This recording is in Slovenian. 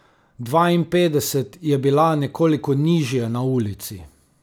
Dvainpetdeset je bila nekoliko nižje na ulici.